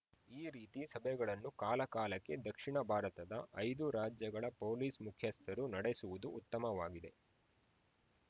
ಈ ರೀತಿ ಸಭೆಗಳನ್ನು ಕಾಲಕಾಲಕ್ಕೆ ದಕ್ಷಿಣ ಭಾರತದ ಐದು ರಾಜ್ಯಗಳ ಪೊಲೀಸ್‌ ಮುಖ್ಯಸ್ಥರು ನಡೆಸುವುದು ಉತ್ತಮವಾಗಿದೆ